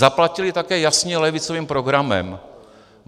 Zaplatili také jasně levicovým programem.